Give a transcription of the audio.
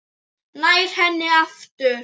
Nær henni aftur.